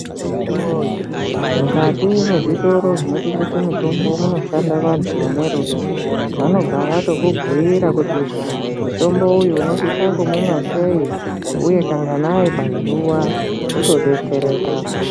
Akiti woye mukati mwezvitoro zvinotengese mutombo munoshanda vantu vane rudo. Vanobva vatokubhuira kuti mutombo uyu unosisa kumumwa sei, uye kanganayi pazuwa, wotodetsereka.